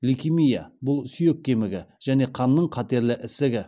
лейкемия бұл сүйек кемігін және қанның қатерлі ісігі